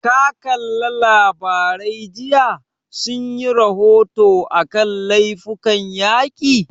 Ka kalla labarai jiya, sun yi rahoto a kan laifukan yaƙi?